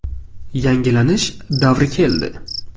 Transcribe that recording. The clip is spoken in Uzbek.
Yangilanish davri keldi’”.